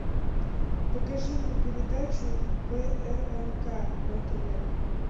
покажи мне передачу прнк на тв